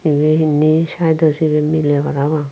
ibey indi saeto sibey miley parapang.